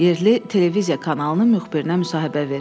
Yerli televiziya kanalının müxbirinə müsahibə verirdi.